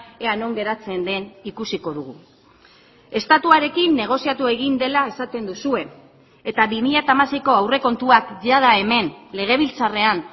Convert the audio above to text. ea non geratzen den ikusiko dugu estatuarekin negoziatu egin dela esaten duzue eta bi mila hamaseiko aurrekontuak jada hemen legebiltzarrean